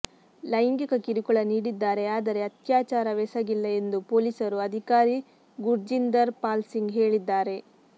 ಲೈಂಗಿಕ ಕಿರುಕುಳ ನೀಡಿದ್ದಾರೆ ಆದರೆ ಅತ್ಯಾಚಾರವೆಸಗಿಲ್ಲ ಎಂದು ಪೊಲೀಸ್ ಅಧಿಕಾರಿ ಗುರ್ಜಿಂದರ್ ಪಾಲ್ ಸಿಂಗ್ ಹೇಳಿದ್ದಾರೆ